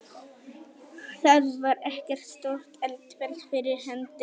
Þar var ekkert stórt eldfjall fyrir hendi.